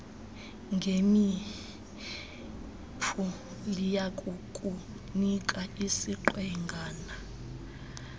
ngemipu liyakukunika isiqwengana